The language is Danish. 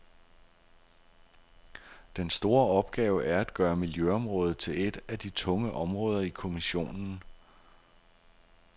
Den store opgave er at gøre miljøområdet til et af de tunge områder i kommissionen.